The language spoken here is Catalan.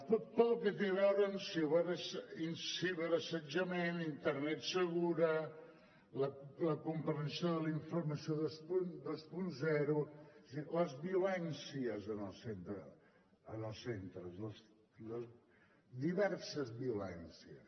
tot el que té a veure amb ciberassetjament internet segura la comprensió de la informació vint és a dir les violències en els centres les diverses violències